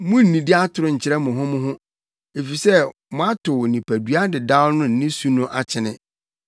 Munnnidi atoro nkyerɛ mo ho mo ho, efisɛ moatow nipadua dedaw ne ne su no akyene